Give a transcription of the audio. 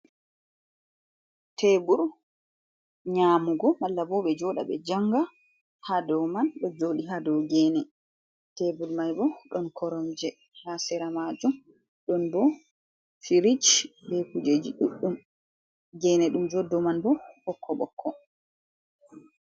Teebur nyamugo, malla bo ɓe jooɗa, be janga haa do man, ɗo jooɗii haa do geene, teebul mai bo ɗon koromje haa sira maajum, ɗon bo firij, be kujeji ɗuɗɗum, geene ɗum jooɗi do man bo ɓokko-ɓokko.